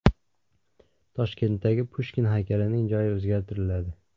Toshkentdagi Pushkin haykalining joyi o‘zgartiriladi.